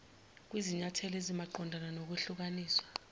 kwizinyathelo ezimaqondana nokwehlukaniswa